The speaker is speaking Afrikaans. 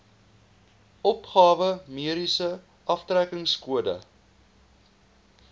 opgawe mediese aftrekkingskode